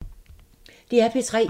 DR P3